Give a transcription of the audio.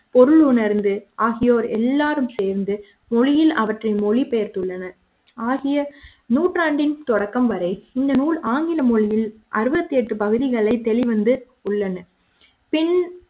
பொருள் உணர்ந்து ஆகியோர் எல்லாரும் சேர்ந்து மொழியில் அவற்றை மொழிபெயர்த்துள்ளனர் ஆகிய நூற்றாண்டின் தொடக்கம் வரை இந்த நூல் ஆங்கில மொழியில் அறுபத்தெட்டு பகுதிகளைத் வெளிவந்து உள்ளன பின்